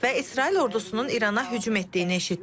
Və İsrail ordusunun İrana hücum etdiyini eşitdim.